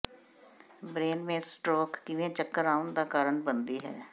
ਬ੍ਰੇਨਮੇਂਸ stroke ਕਿਵੇਂ ਚੱਕਰ ਆਉਣ ਦਾ ਕਾਰਨ ਬਣਦੀ ਹੈ